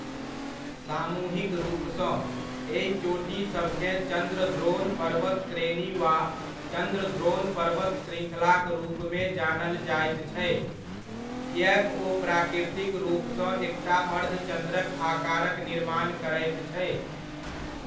सामूहिक रूपसँ, एहि चोटी सभकेँ चंद्रद्रोण पर्वत श्रेणी वा चंद्रद्रोण पर्वत श्रृङ्खलाक रूपमे जानल जाइत छै किएक ओ प्राकृतिक रूपसँ एकटा अर्धचन्द्रक आकारक निर्माण करैत छै।